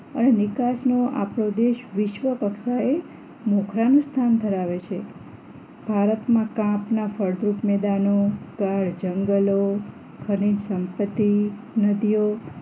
અને નિકાસ નો આપણો દેશ વિશ્વ કક્ષાએ મોખાળાં નું સ્થાન ધરાવે છે ભારતમાં કાપના ફળદ્રુપ મેદાનો કાઢ જંગલો ખનીજ સંપતિ નદીઓ